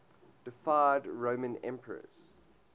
deified roman emperors